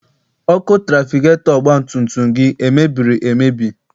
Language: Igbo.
Ọkụ trafigetọ ọgbatumtum gị emebiri emebi?